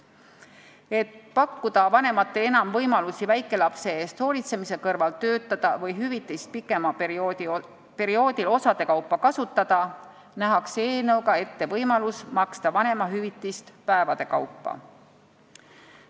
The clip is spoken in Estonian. Et pakkuda vanematele enam võimalusi väikelapse eest hoolitsemise kõrval töötada või hüvitist pikemal perioodil osade kaupa kasutada, nähakse eelnõuga ette võimalus maksta vanemahüvitist päevade kaupa.